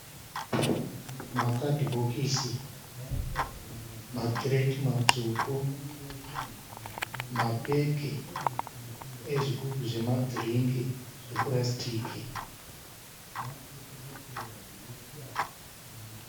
makadhibhokisi, makireti matsvuku, mapeki ezvigubhu zvemadhiringi zvepurasitiki.